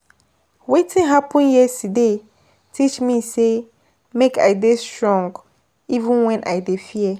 Wetin happen yesterday teach me sey make I dey strong even wen I dey fear.